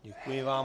Děkuji vám.